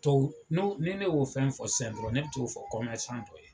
Tɔw n'o ni ne y'o fɛn fɔ sɛn dɔrɔn ne be t'o fɔ kɔmɛrisan dɔ ye